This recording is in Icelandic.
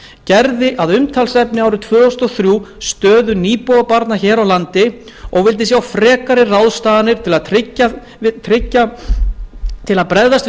gerði að umtalsefni árið tvö þúsund og þrjú stöðu nýbúabarna hér á landi og vildi sjá frekari ráðstafanir til að bregðast við